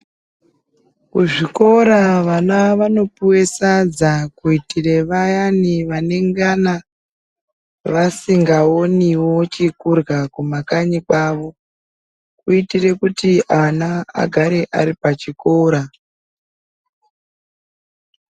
Kuzvikora vana vanopiwe sadza ,kuitire vayani vanenge vasingawoniwo chekudya kumakanyi kwawo ,kuitire kuti ana agare aripachikora.